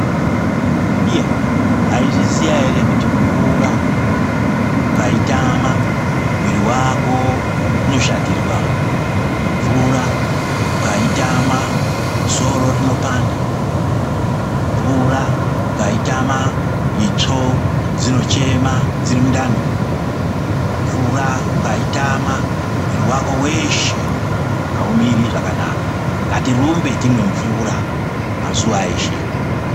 Iya, mwayizviziya ere kuti mvura ukayitama mumwiri wako unoshatirwa, mvura ukayitama soro rinopanda, mvura ukayitama itsvo dzinochema dziri mundani, mvura ukayitama mwiri wako weshe awumiri zvakanaka, ngatirumbe timwe mvura mazuwaeshe.